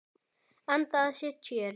Anda að sér tjöru.